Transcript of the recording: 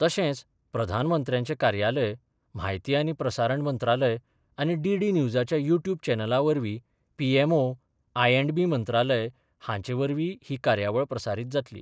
तशेच प्रधानमंत्र्यांचे कार्यालय, म्हायती आनी प्रसारण मंत्रालय आनी डीडी न्युजाच्या युट्युब चॅनलावरवी P M O, I and B मंत्रालय हांचेवरवीय ही कार्यावळ प्रसारित जातली.